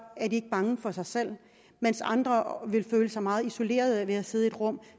er de ikke bange for sig selv mens andre vil føle sig meget isoleret ved at sidde i et rum